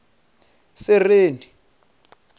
sereni